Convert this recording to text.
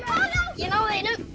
ég náði einum